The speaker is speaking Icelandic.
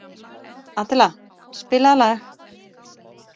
Adela, spilaðu lag.